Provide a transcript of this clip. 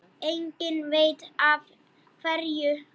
Enginn veit af hverju.